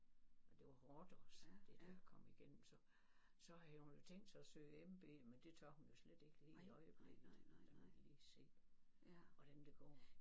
Og det var hårdt også det der at komme igennem så så havde hun jo tænkt sig at søge MB men det tør hun jo slet ikke lige i øjeblikket. Der må vi lige se hvordan det går